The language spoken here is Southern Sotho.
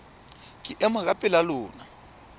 ke ema ka pela lona